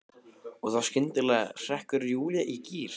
Og þá skyndilega hrekkur Júlía í gír.